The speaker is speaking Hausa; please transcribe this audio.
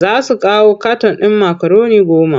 Za su kawo katan ɗin makaroni goma.